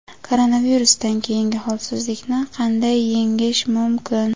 Koronavirusdan keyingi holsizlikni qanday yengish mumkin?.